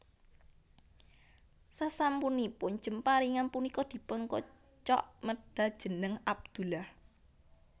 Sasampunipun jemparingan punika dipun kocok medhal jeneng Abdullah